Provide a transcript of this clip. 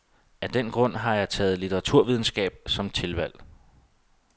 Af den grund har jeg taget litteraturvidenskab som tilvalg.